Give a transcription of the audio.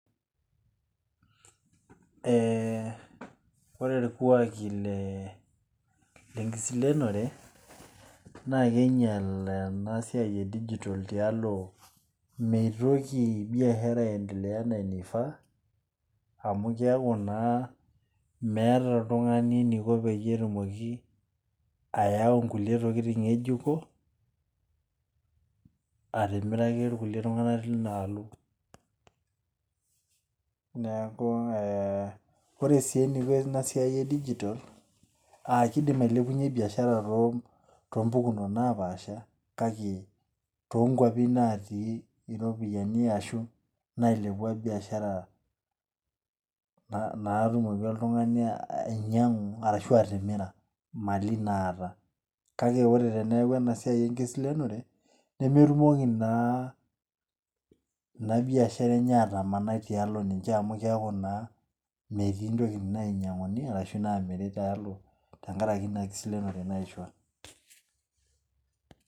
Eeh ore irkuaki le lekiselenore naa keinyel ena siai e3 digital tialo meitoki biashara aendelea enaa enaifaa, amu keaku naa meeta eniko oltungani eneiko tenitoki aya kulie tokitin ngejuko atimiraki kulie tungana tinaalo. Neeku ee ore si eneiko ina siai e digital aah keidim ailepunye biashara too pukunot napaasha, kake too kuapi natii iropiyiani, aashu nailepua biashara, naatumoki oltungani ainyangu ashu atimira mali naata, kake ore peeku ena siai ekiselenore nemetumoki naa ina biashara enye atamanai tiatua ninche amu keeku naa ketii tokitin nemeinyangu ashu naamiri tialo te nkaraki ina siai ekiselenore naishu.